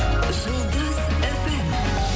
жұлдыз фм